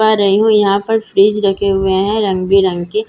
पा रही हूँ यहाँ पर फ्रिज रखे हुए हैं रंग बिरंग के जैसे की में --